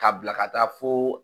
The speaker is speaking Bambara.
K'a bilaka taa foo.